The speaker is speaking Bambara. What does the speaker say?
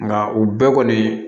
Nka u bɛɛ kɔni